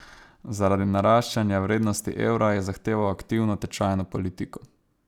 Zaradi naraščanja vrednosti evra je zahteval aktivno tečajno politiko.